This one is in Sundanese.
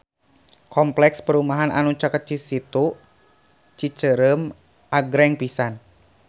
Kompleks perumahan anu caket Situ Cicerem agreng pisan